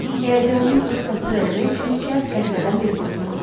Həyəcanımı ört-basdır eləmək üçün cəld qəhvədən bir qurtum aldım.